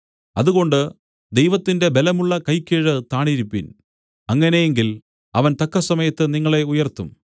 അതുകൊണ്ട് ദൈവത്തിന്റെ ബലമുള്ള കൈക്കീഴ് താണിരിപ്പിൻ അങ്ങനെ എങ്കിൽ അവൻ തക്കസമയത്ത് നിങ്ങളെ ഉയർത്തും